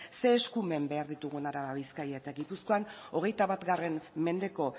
zein eskumen behar ditugun araba bizkaia eta gipuzkoan hogeita bat mendeko